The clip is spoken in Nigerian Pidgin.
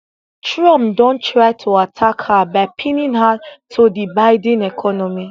trump don try to attack her by pinning her to di biden economy